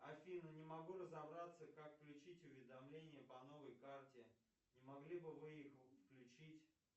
афина не могу разобраться как включить уведомления по новой карте не могли бы вы их включить